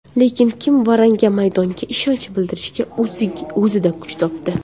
Lekin, kim Varanga maydonda ishonch bildirishga o‘zida kuch topdi.